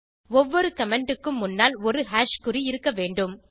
ஒவ்வொரு கமெண்ட் க்கும் முன்னால் ஒரு குறி இருக்க வேண்டும்